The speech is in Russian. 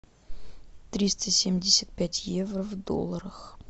триста семьдесят пять евро в долларах